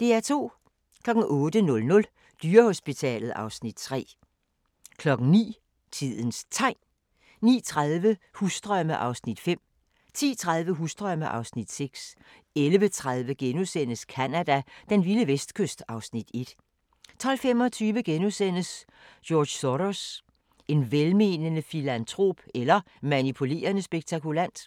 08:00: Dyrehospitalet (Afs. 3) 09:00: Tidens Tegn 09:30: Husdrømme (Afs. 5) 10:30: Husdrømme (Afs. 6) 11:30: Canada: Den vilde vestkyst (Afs. 1)* 12:25: George Soros – en velmenende filantrop eller manipulerende spekulant? *